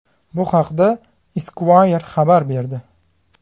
Bu haqda Esquire xabar berdi.